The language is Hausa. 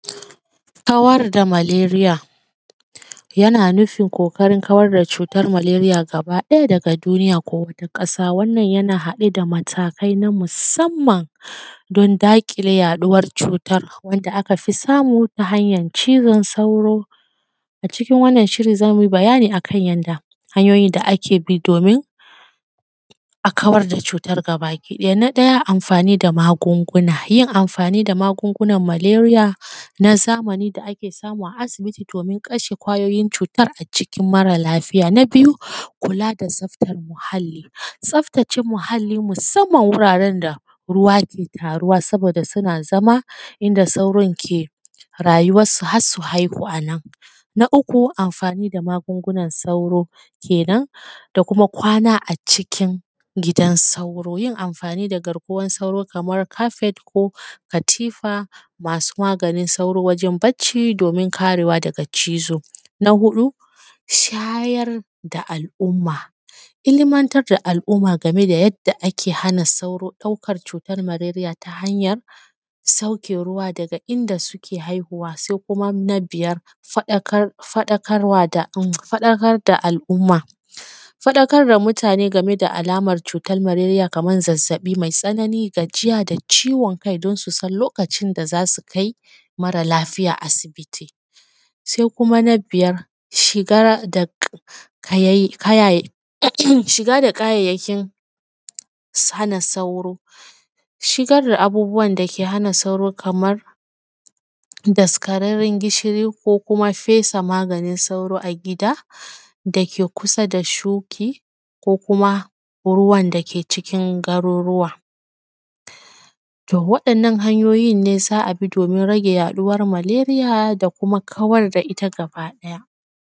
Kawar da malaria yana nufin ƙoƙarin kawar da cutar malaria gaba ɗaya daga duniya ko wata ƙasa wannan yana haɗe da matakai na musamman don daƙile yaɗuwar cutar wanda aka fi samu ta hanyar cizon sauro, a cikin wannan shirin zamu yi bayani akan yadda hanyoyi da ake bi domin a kawar da cutar gabaki ɗaya, na ɗaya amfani da magunguna, yin amfani da magungunan malaria na zamani da kae samu a asibiti domin kasha ƙwayoyin cutar a jikin marar lafiya, na biyu, kula da tsaftan muhalli, tsaftace muhalli musamman wuraren da ruwa ke taruwa saboda suna zama inda sauron ke rayuwan su har su haihu anan, na uku, amfani da magungunan sauro kenan da kuma kwana a cikin gidan sauro yin amfani da garkuwan sauro kamar carpet ko katifa masu maganin sauro wajen bacci dmin karewa daga cizo, na huɗu, shayar da al`umma, ilmantar da al`umma game da yadda ake hana sauro ɗaukar cutar malaria ta hanyar sauke ruwa daga inda suke haihuwa, sai kuma na biyar, faɗakar faɗakarwa da faɗakar da al`umma, faɗakar da mutane game da alamar cutar malaria kamar zazzaɓi mai tsanani, gajiya da ciwon kai don su san lokacin da zasu kai marar lafiya asibiti, sai kuma na biyar shigar da kaya kayaye um um shiga da kayayyakin hana sauro, shigar da abubuwan dake hana sauro kaman daskararran gishiri ko kuma fesa maganin sauro a gida dake kusa da shuki ko kuma ruwan dake cikin garuruwa to waɗannan hanyoyin ne za a bi domin rage yaɗuwan malaria da kuma kawar.